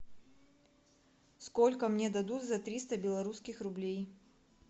сколько мне дадут за триста белорусских рублей